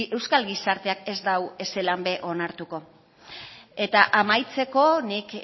euskal gizarteak ez dau ezelan be onartuko eta amaitzeko nik